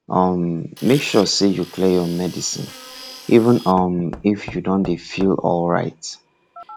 um make sure say you clear your medicine even um if you don dey feel alright